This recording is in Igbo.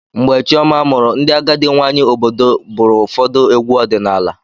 Mgbe Chioma mụrụ, ndị agadi nwanyị obodo bụrụ ụfọdụ egwu ọdịnala.